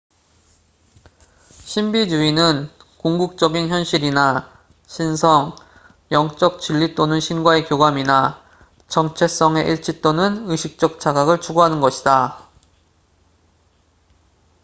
신비주의는 궁극적인 현실이나 신성 영적 진리 또는 신과의 교감이나 정체성의 일치 또는 의식적 자각을 추구하는 것이다